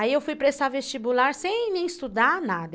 Aí eu fui prestar vestibular sem nem estudar nada.